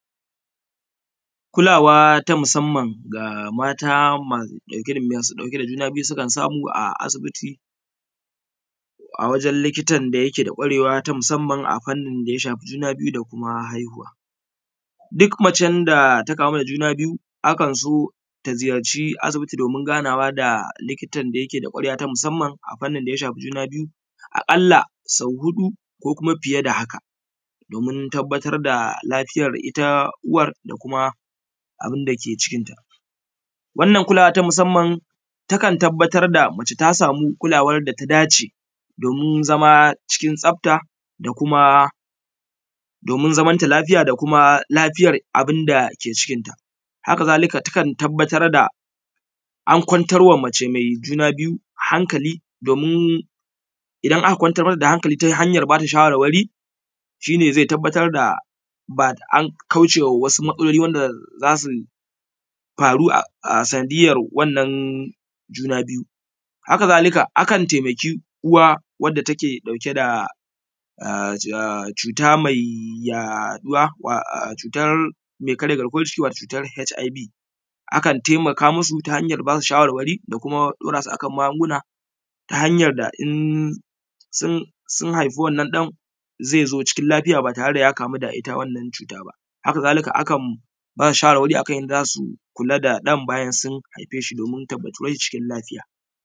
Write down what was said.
Kulawa ta musamman da mata masu ɗauke da juna biyu a asibiti a wajen likitan da yake da kwarewa dangane da juna biyu da kuma haihuwa. Duk macen da ta kamu da juna biyu akan so ta ziyarci asibiti domin ganawa da likitan da yake da kwarewa ta musamman a fannin da ya shafi juna biyu a ƙalla sau huɗu ko fiye da haka don tabbatar da lafiya ita uwar da abun da ke cikinta wannan kulawa wanda take dauke: da wannan ʧu:tar mai karja: garkuwar ʤiki wato: hiv akan taimaka musu waʤen ba su ʃa:warwa:ri: da ku:ma: daura su a kan magunguna: ta hanjar da in sun haiɸu ɗan zai zo: ʧikin laɸija: ba tare: da ja kamu da wannan ʧu:ta: ba haka zalika akan ba su ʃa:warwa:ri: a kan jadda za su kula ɗan bajan sun haiɸe: ʃi ʧikin laɸija: wanda take dauke da wannan cutar mai karya garkuwar jiki wato HIV akan taimaka musu wajen ba su shawarwari da kuma daura su a kan magunguna ta hanyar da in sun haifu ɗan zai zo cikin lafiya ba tare da ya kamu da wannan cuta ba. Haka zalika akan ba su shawarwari a kan yadda za su kula ɗan bayan sun haife shi cikin lafiya.